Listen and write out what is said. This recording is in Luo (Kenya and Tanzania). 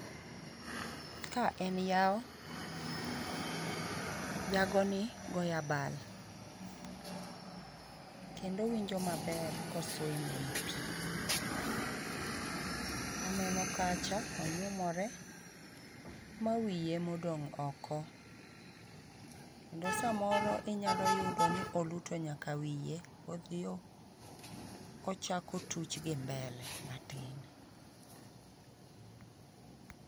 Ka en yawo. Jagoni goyo abal, kendo owinjo maber ko swim ei pi. Aneno kacha, onyumore ma wiye ema odong' oko, kendo samoro inyalo yudo ni oluto nyaka wiye, odhi ochako otuch gi mbele 5cs] matin.